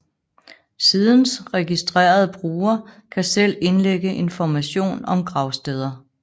Sidens registrerede brugere kan selv indlægge information om gravsteder